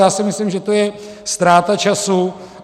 já si myslím, že to je ztráta času.